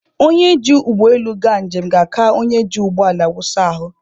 Onye ji ụgbọ elu aga njem ga-aka onye ji ụgbọ ala wụsa ahụ.